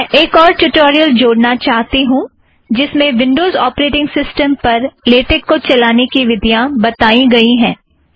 मैं एक और ट्युटोरियल जोड़ना चाहती हूँ जिसमें विंडोज़ ऒपरेटिंग सिस्टम पर लेटेक को चलाने की विधियाँ बताई गई है